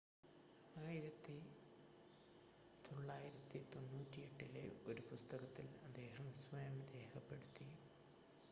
1998-ലെ ഒരു പുസ്തകത്തിൽ അദ്ദേഹം സ്വയം രേഖപ്പെടുത്തി